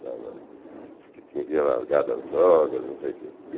estava. Diz que tinha largado as drogas, não sei o quê.